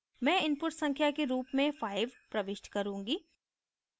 मैं input संख्या के रूप में 5 प्रविष्ट करूँगी